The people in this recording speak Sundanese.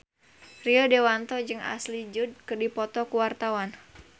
Rio Dewanto jeung Ashley Judd keur dipoto ku wartawan